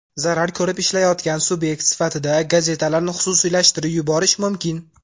Zarar ko‘rib ishlayotgan subyekt sifatida gazetalarni xususiylashtirib yuborish mumkin.